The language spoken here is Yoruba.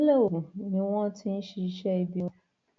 ìpínlẹ ogun ni wọn ti ń ṣiṣẹ ibi wọn